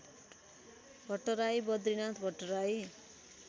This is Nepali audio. भट्टराई बद्रिनाथ भट्टराई